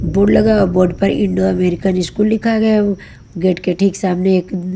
board लगा board पर Indo American school लिखा गया गेट के ठीक सामने एक--